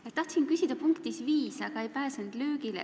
Ma tahtsin küsida infotunni punktis 5, aga ei pääsenud löögile.